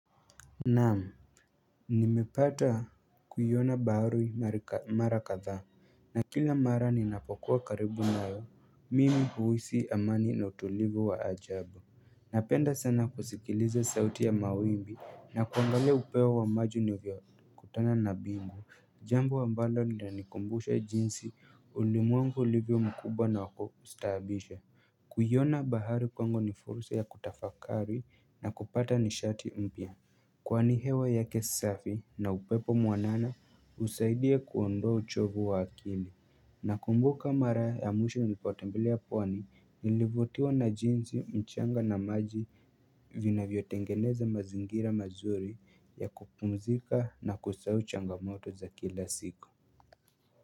Naam, nimepata kuiona bahari mara kadhaa na kila mara ninapokuwa karibu nayo, mimi huhisi amani na utulivu wa ajabu Napenda sana kusikiliza sauti ya mawimbi na kuangalia upeo wa maji uavyokutana na bingu. Jambo ambalo linanikumbusha jinsi ulimwengu ulivyo mkubwa na wa kustahabisha kuiona bahari kwangu ni fursa ya kutafakari na kupata nishati mpya Kwani hewa yake safi na upepo mwanana husaidia kuondoa uchovu wa akili Nakumbuka mara ya mwisho nilipotembelea pwani nilivutiwa na jinsi mchanga na maji vinavyotengeneza mazingira mazuri ya kupumzika na kusahau changamoto za kila siku.